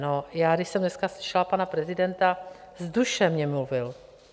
No já když jsem dneska slyšela pana prezidenta, z duše mně mluvil.